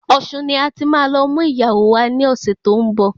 Ọ̀ṣun ni ati má lọ mú ìyàwó wá ní ọ̀sẹ̀ tó ń bọ̀